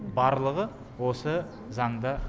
барлығы осы заңда